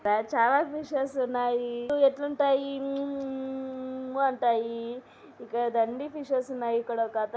ఇక్కడ చాలా ఫిషెస్ ఉన్నాయి అవి ఎట్లుంటాయి మ్యూ మ్యూ మ్యూ మ్యూ ఊఊఊఊఉ అంటాయి ఇక్కడ దండిగా డిషెస్ ఉన్నాయి .ఇక్కొడొక అతను--